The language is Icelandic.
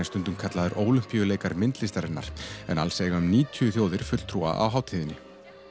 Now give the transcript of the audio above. stundum kallaður Ólympíuleikar myndlistarinnar en alls eiga um níutíu þjóðir fulltrúa á hátíðinni